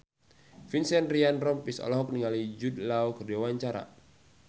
Vincent Ryan Rompies olohok ningali Jude Law keur diwawancara